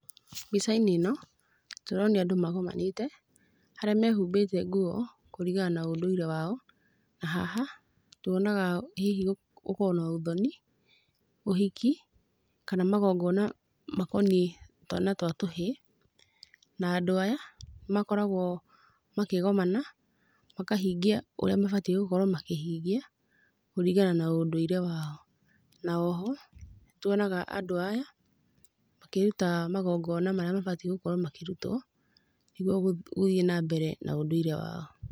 Mbica-inĩ ĩno tũronio andũ magomanĩte harĩa mehumbĩte nguo kũringana na ũndũire wao, nahaha tuonaga hihi gũkorwo na ũthoni, ũhiki, kana magongona makoniĩ twana na tũhĩĩ, na andũ aya makoragwo makĩgomana, makahingia ũrĩa mabatiĩ gũkorwo makĩhingia, kũringana na ũndũire wao. Na oho, nĩ tuonaga andũ aya makĩruta magongona marĩa mabatiĩ gũkorwo makĩrutwo nĩguo gũthiĩ nambere na ũndũire wao.